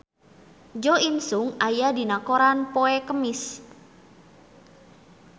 Jo In Sung aya dina koran poe Kemis